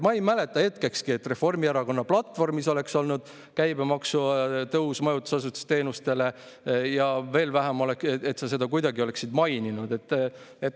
Ma ei mäleta hetkekski, et Reformierakonna platvormis oleks olnud käibemaksu tõus majutusasutuste teenustele ja veel vähem, et sa seda kuidagi oleksid maininud.